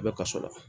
A bɛ kaso la